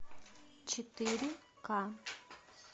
четыре ка